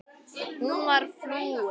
Hún var flúin.